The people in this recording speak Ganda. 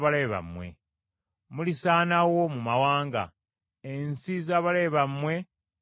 Mulisaanawo mu mawanga; ensi z’abalabe bammwe ziribamira.